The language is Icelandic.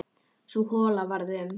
Sú hola varð um